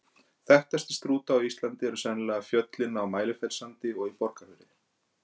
Þekktastir Strúta á Íslandi eru sennilega fjöllin á Mælifellssandi og í Borgarfirði.